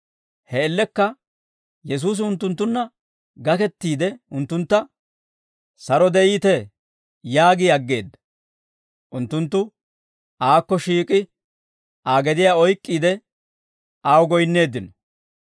He man''iyaan Yesuusi unttunttunna gakettiide unttuntta, «Saro de'iitee» yaagi aggeedda; unttunttu aakko shiik'i Aa gediyaa oyk'k'iide, aw goyinneeddino.